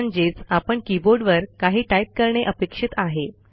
म्हणजेच आपण कीबोर्डवर काही टाईप करणे अपेक्षित आहे